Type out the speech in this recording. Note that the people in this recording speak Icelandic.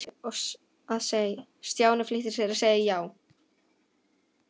Stjáni flýtti sér að segja já.